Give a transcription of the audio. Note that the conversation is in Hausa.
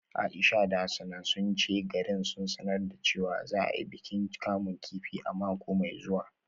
Aisha da Hassana sun ce garin sun sanar da cewa za a yi bikin kamun kifi a mako mai zuwa